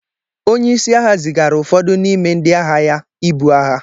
onye-isi-agha zigara ufọdu nime ndi-agha-ya ibu agha